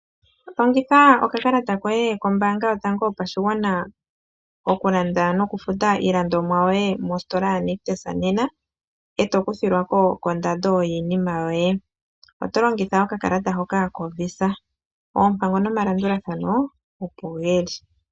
Longitha okakalata koye kombanga yotango yopashigwana okulanda nokufuta iilandomwa yoye mositola yoNictus nena e to kuthilwa ko koondando dhiinima yoye. Oto longitha okakalata hoka koVisa, oompango nomalandulathano opo dhi li.